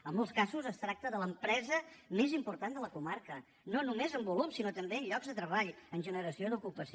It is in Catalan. en molts casos es tracta de l’empresa més important de la comarca no només en volum sinó també en llocs de treball en generació d’ocupació